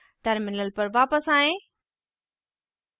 terminal पर वापस आएँ